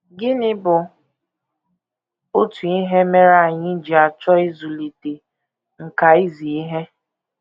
Gịnị bụ otu ihe mere anyị ji achọ ịzụlite “ nkà izi ihe ”?